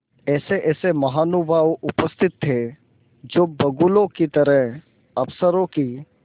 ऐसेऐसे महानुभाव उपस्थित थे जो बगुलों की तरह अफसरों की